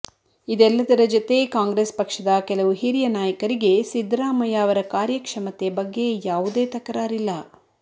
ಇದೆಲ್ಲದರ ಜತೆ ಕಾಂಗ್ರೆಸ್ ಪಕ್ಷದ ಕೆಲವು ಹಿರಿಯ ನಾಯಕರಿಗೆ ಸಿದ್ದರಾಮಯ್ಯ ಅವರ ಕಾರ್ಯಕ್ಷಮತೆ ಬಗ್ಗೆ ಯಾವುದೇ ತಕರಾರಿಲ್ಲ